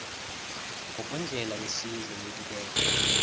ngokwendlela yesizwe yokubeka